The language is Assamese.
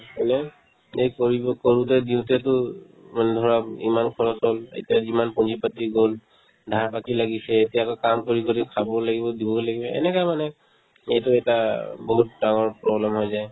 হয়নে নে কৰিব কৰোতে দিওতেতো উম মানে ধৰা ইমান খৰচ হ'ল এতিয়া যিমান পুঞ্জী-পাতি গ'ল ধাৰ বা কি লাগিছে এতিয়া গৈ কাম কৰি কৰি খাবও লাগিব দিবও লাগিব এনেকা মানে এইটো এটা বহুত ডাঙৰ problem হৈ যায়